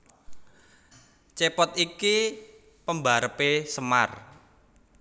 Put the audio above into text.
Cepot iki pembarepe Semar